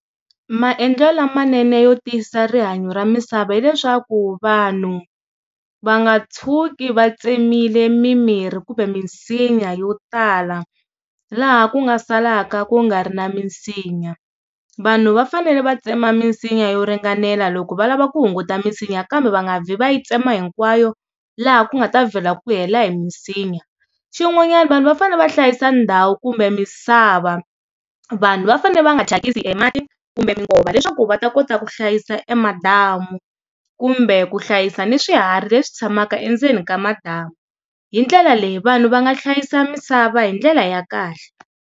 Maendlelo lamanene yo tiyisisa rihanyo ra misava hileswaku vanhu va nga tshuki va tsemile mimirhi kumbe minsinya yo tala laha ku nga salaka ku nga ri na minsinya. vanhu va fanele va tsema minsinya yo ringanela loko va lava ku hunguta minsinya kambe va nga vi va yi tsema hinkwayo laha ku nga ta vhela ku hela hi minsinya, xin'wanyana vanhu va fanele va hlayisa ndhawu kumbe misava vanhu va fanele va nga thyakisi emati kumbe minkova leswaku va ta kota ku hlayisa emadamu kumbe ku hlayisa ni swiharhi leswi tshamaka endzeni ka madamu hi ndlela leyi vanhu va nga hlayisa misava hi ndlela ya kahle.